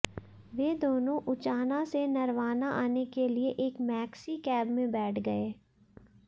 वे दोनों उचाना से नरवाना आने के लिए एक मैक्सीकैब में बैठ गए